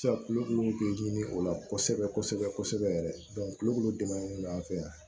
Sisan kulukulu bɛ ɲini o la kosɛbɛ kosɛbɛ yɛrɛ kulukoro dɛmɛ an fɛ yan